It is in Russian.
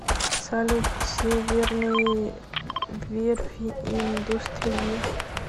салют северные верфи индустрия